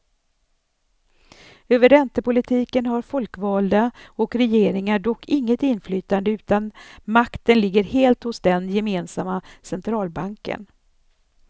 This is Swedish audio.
Över räntepolitiken har folkvalda och regeringar dock inget inflytande utan makten ligger helt hos den gemensamma centralbanken.